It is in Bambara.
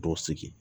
Bɔ sigi